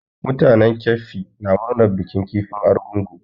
Mutanen keffi na murnar bikin kifin argungu.